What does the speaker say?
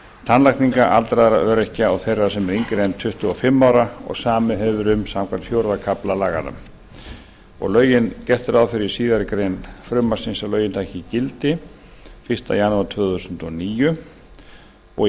tannlækninga allra öryrkja og þeirra sem eru tuttugu og fimm ára og samið hefur verið um samkvæmt fjórða kafla laganna gert er ráð fyrir í síðari grein frumvarpsins að lögin taki gildi fyrsta janúar tvö þúsund og níu í ákvæði